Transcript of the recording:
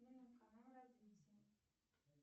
канал развитие